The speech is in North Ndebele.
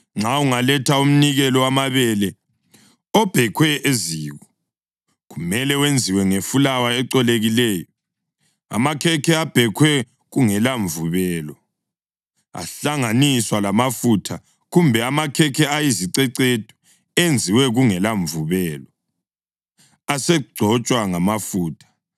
Nxa ungaletha umnikelo wamabele obhekhwe eziko, kumele wenziwe ngefulawa ecolekileyo: amakhekhe abhekhwe kungela mvubelo, ahlanganiswa lamafutha, kumbe amakhekhe ayizicecedu enziwe kungela mvubelo, asegcotshwa ngamafutha.